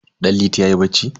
Danliti yayi bacci.